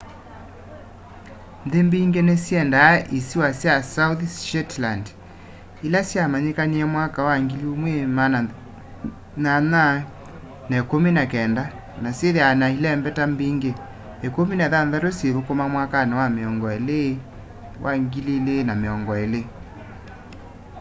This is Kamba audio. nthi mbingi ni syendaa isiwa sya south shetland ila sya manyikanie mwaka wa 1819 na syithiawa na ilembeta mbingi 16 syithukuma mwakani wa 2020